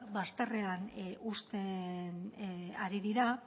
bazterrean uzten ari dira